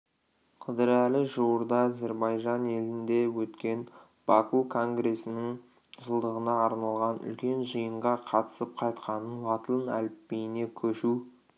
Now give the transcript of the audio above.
қыдырәлі жуырда зірбайжан елінде өткен баку конгресінің жылдығына арналған үлкен жиынға қатысып қайтқанын латын әліпбиіне көшу